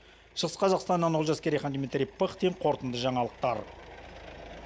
шығыс қазақстаннан олжас керейхан дмитрий пыхтин қорытынды жаңалықтар